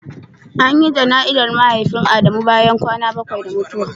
An yi janai'ra Mahaifin Adamu bayan kwana bakwai da mutuwa.